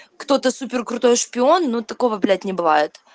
кто-то супер крутой шпион но такого блять не бывает